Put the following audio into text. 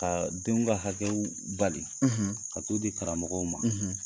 Ka denw ka hakɛw bali, ,ka t'o di karamɔgɔw ma,